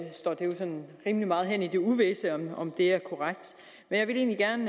står det jo sådan rimelig meget hen i det uvisse om det er korrekt men jeg vil egentlig gerne